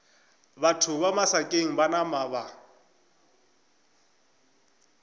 batho ba masakeng ba napa